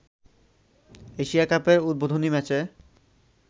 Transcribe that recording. Asia কাপের উদ্বোধনী ম্যাচে